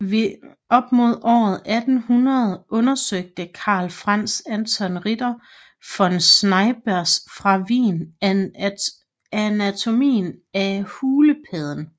Op mod år 1800 undersøgte Carl Franz Anton Ritter von Schreibers fra Wien anatomien af hulepadden